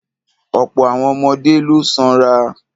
Ọ̀pọ̀ àwọn ọmọdé ló sanra.